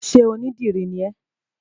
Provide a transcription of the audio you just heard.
Sé onídìrí ni ẹ́?